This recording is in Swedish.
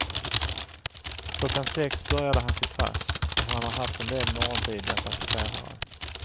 Klockan sex började han sitt pass och han har haft en del morgontidiga passagerare.